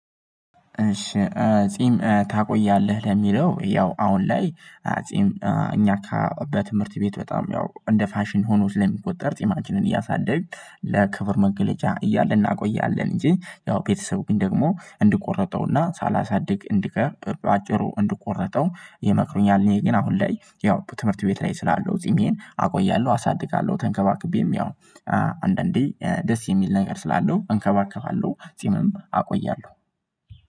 እሺ ጺም ታቆያለህ ለሚለው ያው አሁን ላይ? ጺም እኛ ካ በትምህርት ቤት በጣም ያው እንደ ፋሽን ሆኖ ስለሚቆጠር ጢማችንን እያሳደግን ለክብር መገለጫ እያለ እናቆያለን እንጂ ያው ቤተሰብ ግን ደግሞ እንዲቆረጠውና ሳላሳድግ እንዲቀብር አጭሩ እንዲቆረጠው ይመክሩኛል። እኔ ግን አሁን ላይ ያው በትምህርት ቤት ላይ ስላለው ጺሜን አቆያለሁ አሳድጋለሁ ተንከባክቤም ያው። አንዳንዴ ደስ የሚል ነገር ስላለው እንከባከባለው ጺምም አቆያለሁ።